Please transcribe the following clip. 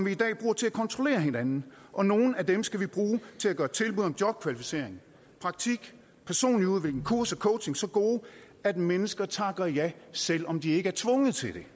i dag bruger til at kontrollere hinanden og nogle af dem skal vi bruge til at gøre tilbud om jobkvalificering praktik personlig udvikling kurser coaching så gode at mennesker takker ja selv om de ikke er tvunget til det